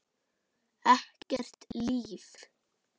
Ekkert líf.